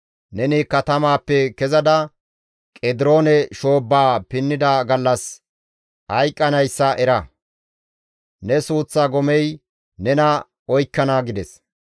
Neni katamaappe kezada Qediroone shoobbaa pinnida gallas hayqqanayssa era; ne suuththa gomey nena oykkana» gides.